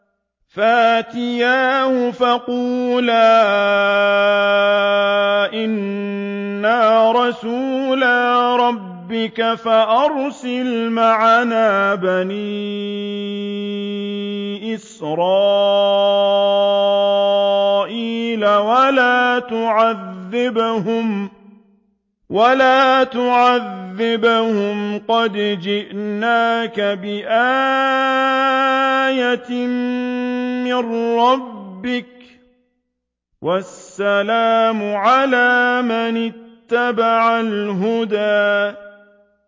فَأْتِيَاهُ فَقُولَا إِنَّا رَسُولَا رَبِّكَ فَأَرْسِلْ مَعَنَا بَنِي إِسْرَائِيلَ وَلَا تُعَذِّبْهُمْ ۖ قَدْ جِئْنَاكَ بِآيَةٍ مِّن رَّبِّكَ ۖ وَالسَّلَامُ عَلَىٰ مَنِ اتَّبَعَ الْهُدَىٰ